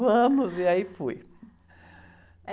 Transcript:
Vamos, e aí fui.